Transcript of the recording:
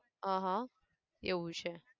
અહં, એવું છે.